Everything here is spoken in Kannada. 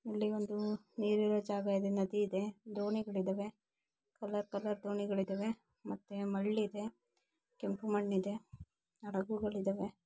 ಇಲ್ಲಿ ಒಂದು ನೀರಿರೋ ಜಾಗ ಇದೆ ನದಿ ಇದೆ ದೋಣಿಗಳು ಇದವೆ. ಕಲರ್ ಕಲರ್ ದೋಣಿಗಳು ಇದಾವೆ ಮತ್ತೆ ಮಳ್ಳ್ ಇದೆ ಕೆಂಪು ಮಣ್ಣ ಇದೆ ಹಡಗುಗಳು ಇದಾವೆ.